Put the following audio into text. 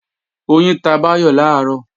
Oyin ta Báyọ̀ làárọ̀